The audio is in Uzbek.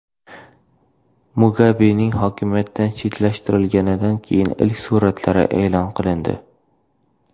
Mugabening hokimiyatdan chetlashtirilganidan keyingi ilk suratlari e’lon qilindi.